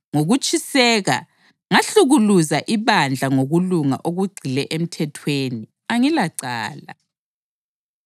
ngokutshiseka, ngahlukuluza ibandla; ngokulunga okugxile emthethweni, angilacala.